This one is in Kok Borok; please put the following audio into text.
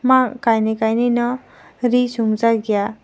ahh kaini kaini nw ree chum jaak eia.